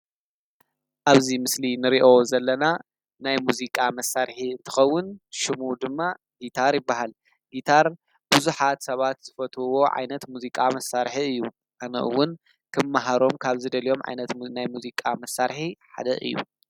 ኣብዙ ምስሊ ንርእዮ ዘለና ናይ ሙዚቃ መሣርሒ እትኸውን ሹሙ ድማ ጊታር ይበሃል ጊታር ብዙኃት ሰባት ዝፈትውዎ ዓይነት ሙዚቃ መሣርሒ እዩ ኣነእውን ክምመሃሮም ካብዝ ደልኦም ዓይነት ናይ ሙዚቃ መሣርሒ ሓደ እዩ።